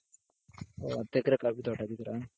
ಓ ಹತ್ತೆಕ್ರೆ coffee ತೋಟ ಹಾಕಿದ್ದೀರಾ?.